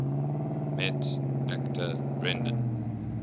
met actor brendan